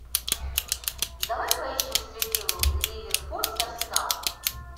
давай поищем встречу ливерпуль с арсеналом